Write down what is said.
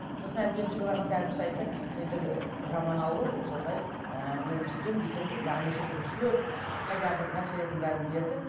сосын әлгі емшіге барғанда әлгі кісі айтты сіздікі жаман ауру сондай ыыы мен сөйтем бүйтем деп маған неше түрлі шөп қайдағы бір нәрселердің бәрін берді